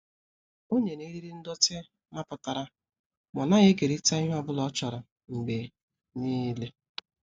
O nyere eriri ndọtị mapụtara ma ọ naghị ekerịta ihe ọ bụla ọ chọrọ mgbe niile.